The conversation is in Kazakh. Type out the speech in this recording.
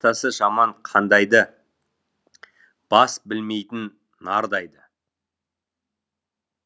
атасы жаман қандай ды бас білмейтін нардай ды